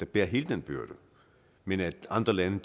bære hele den byrde men at andre lande